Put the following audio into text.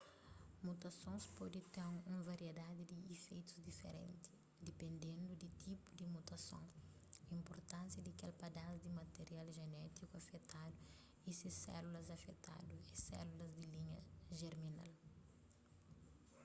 mutasons pode ten un variedadi di ifeitus diferenti dipendendu di tipu di mutason inpurtánsia di kel padas di material jenétiku afetadu y si sélulas afetadu é sélulas di linha jerminal